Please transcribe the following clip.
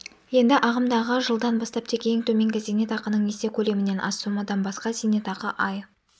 енді ағымдағы жылдан бастап тек ең төменгі зейнетақының есе көлемінен аз сомадан басқа зейнетақы ай